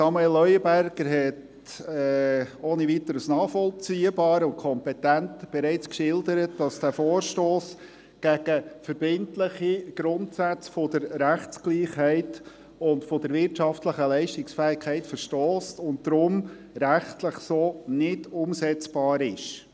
Samuel Leuenberger hat, ohne Weiteres nachvollziehbar und kompetent, bereits geschildert, dass dieser Vorstoss gegen verbindliche Grundsätze der Rechtsgleichheit und der wirtschaftlichen Leistungsfähigkeit verstösst und deshalb rechtlich so nicht umsetzbar ist.